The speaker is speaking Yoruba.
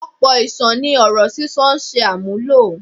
Ọ̀pọ̀ iṣan ni ọ̀rọ̀ sísọ ń ṣe àmúlò.